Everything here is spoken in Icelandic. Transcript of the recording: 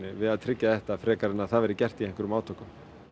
við að tryggja þetta frekar heldur en að það verði gert með einhverjum átökum